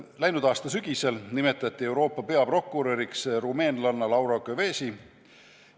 Läinud aasta sügisel nimetati Euroopa peaprokuröriks rumeenlanna Laura Kövesi.